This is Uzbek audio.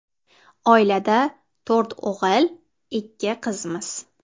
Oilada to‘rt o‘g‘il, ikki qizmiz.